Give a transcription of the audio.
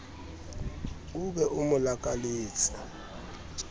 o be o mo lakaletse